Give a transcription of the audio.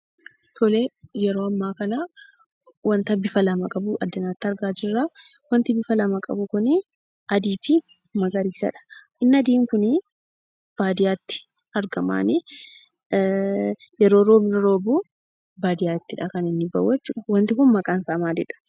Tolee, yeroo ammaa kanaa wanta bifa lama qabu addanatti argaa jirraa, wanti bifa lama qabu kunii adiifi magariisadha. Inni adiin kunii baadiyyaatti argamaanii, yeroo roobni roobuu baadiyyaattidha, kaninni bahuu jechuudha. Wanti kun maqaansaa maali?